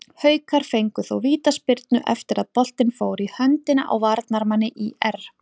Haukar fengu þó vítaspyrnu eftir að boltinn fór í höndina á varnarmanni ÍR.